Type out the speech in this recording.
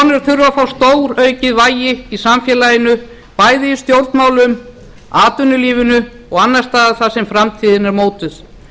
þurfa að fá stóraukið vægi í samfélaginu bæði í stjórnmálum atvinnulífinu og annars staðar þar sem framtíðin er mótuð